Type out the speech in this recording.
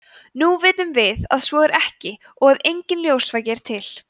nú vitum við að svo er ekki og að enginn ljósvaki er til